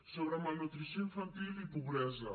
sobre malnutrició infantil i pobresa